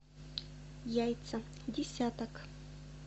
яйца десяток